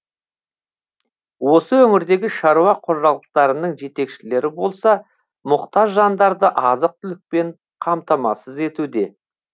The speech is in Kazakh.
осы өңірдегі шаруа қожалықтарының жетекшілері болса мұқтаж жандарды азық түлікпен қамтамасыз етуде